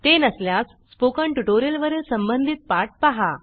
ते नसल्यास स्पोकन ट्युटोरियलवरील संबंधित पाठ पाहा